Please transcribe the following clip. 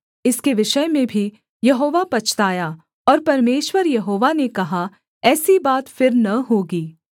इसके विषय में भी यहोवा पछताया और परमेश्वर यहोवा ने कहा ऐसी बात फिर न होगी